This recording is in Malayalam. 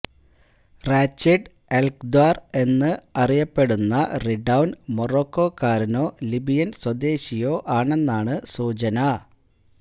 റാച്ചിഡ് എല്ക്ദാര് എന്നും അറിയപ്പെടുന്ന റിഡൌന് മൊറോക്കോക്കാരനോ ലിബിയന് സ്വദേശിയോ ആണെന്നാണ് സൂചന